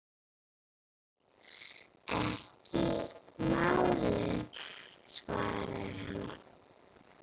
Ekki málið, svaraði hann.